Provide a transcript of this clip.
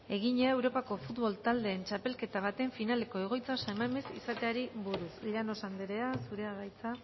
egina europako futbol taldeen txapelketa baten finaleko egoitza san mames izateari buruz llanos anderea zurea da hitza